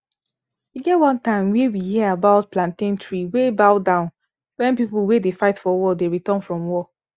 e get one time wey we hear about plantain tree wey bow down wen people wey dey fight for war dey return from war